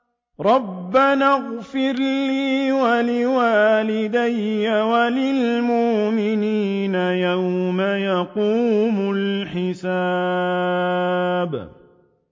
رَبَّنَا اغْفِرْ لِي وَلِوَالِدَيَّ وَلِلْمُؤْمِنِينَ يَوْمَ يَقُومُ الْحِسَابُ